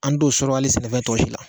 An don sɔrɔ hali sɛnɛfɛn tɔ si la